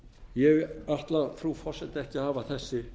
ég ætla frú forseti ekki að hafa þessi